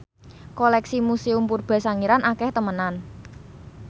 koleksi Museum Purba Sangiran akeh temenan